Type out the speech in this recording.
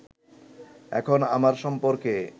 এখন আমার সম্পর্কে